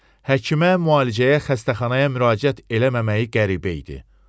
həkimə, müalicəyə, xəstəxanaya müraciət eləməməyi qəribə idi.